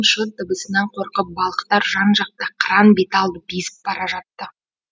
шот дыбысынан қорқып балықтар жан жақта қаран беталды безіп бара жатты